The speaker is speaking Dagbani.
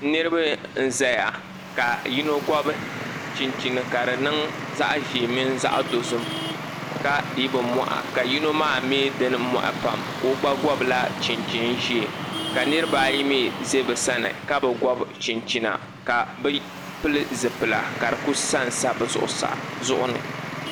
niraba n ʒɛya ka yino gobi chinchin ka di niŋ zaɣ ʒiɛ mini zaɣ dozim ka dii bi moɣa ka yino maa mii dini moɣa pam ka o gba gobila chinchin ʒiɛ ka niraba ayi mii ʒɛ bi sani ka bi gobi chinchina ka di ku sansa bi zuɣu ni